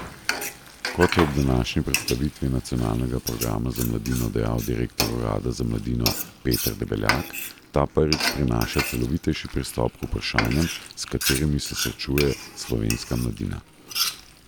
Kot je ob današnji predstavitvi nacionalnega programa za mladino dejal direktor urada za mladino Peter Debeljak, ta prvič prinaša celovitejši pristop k vprašanjem, s katerimi se srečuje slovenska mladina.